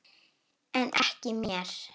En ekki mér.